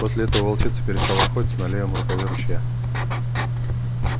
после этого волчица перестала охотиться на левом рукаве ручья